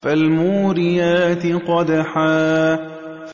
فَالْمُورِيَاتِ قَدْحًا